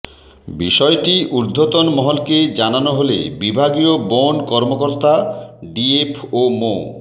বিষয়টি উর্ধ্বতন মহলকে জানানো হলে বিভাগীয় বন কর্মকর্তা ডিএফও মো